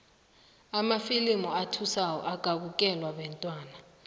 amafilimu athusako akabukelwa bantwana